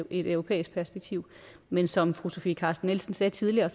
et europæisk perspektiv men som fru sofie carsten nielsen sagde tidligere